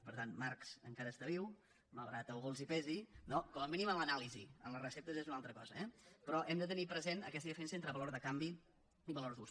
per tant marx encara està viu malgrat que a alguns els pesi no com a mínim en l’anàlisi en les receptes ja és una altra cosa eh però hem de tenir present aquesta diferència entre valor de canvi i valor d’ús